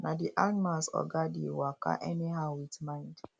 na the animals oga dey waka any how with mind